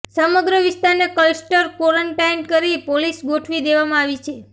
સમગ્ર વિસ્તારને cluster quarantine કરી પોલીસ ગોઠવી દેવામાં આવી છે